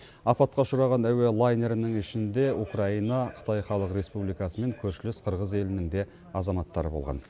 апатқа ұшыраған әуе лайнерінің ішінде украина қытай халық республикасы мен көршілес қырғыз елінің де азаматтары болған